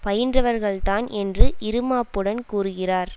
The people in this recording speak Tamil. பயின்றவர்கள்தான் என்று இறுமாப்புடன் கூறுகிறார்